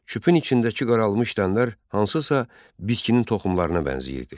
Küpün içindəki qaralmış dənələr hansısa bitkinin toxumlarına bənzəyirdi.